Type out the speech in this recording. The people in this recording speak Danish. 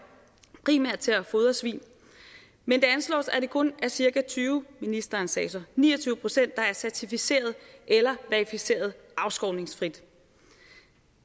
primært til at fodre svin men det anslås at det kun er cirka tyve ministeren sagde så ni og procent der er certificeret eller verificeret afskovningsfrit